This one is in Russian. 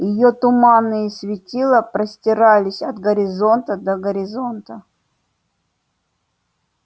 её туманные светила простирались от горизонта до горизонта